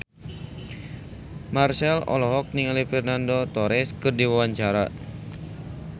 Marchell olohok ningali Fernando Torres keur diwawancara